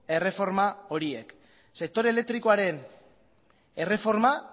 erreforma horiek sektore elektrikoaren erreforma